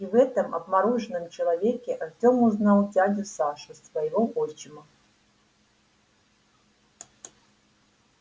и в этом обмороженном человеке артём узнал дядю сашу своего отчима